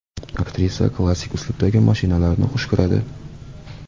Aktrisa klassik uslubidagi mashinalarni xush ko‘radi.